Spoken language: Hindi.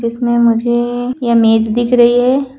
इसमें मुझे यह मेज़ दिख रही है।